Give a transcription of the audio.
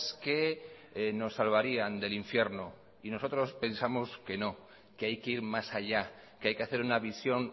que nos salvarían del infierno y nosotros pensamos que no que hay que ir más allá que hay que hacer una visión